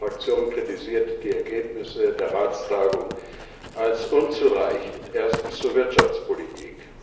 Meine Fraktion kritisiert die Ergebnisse der Ratstagung als unzureichend. Erstens zur Wirtschaftspolitik.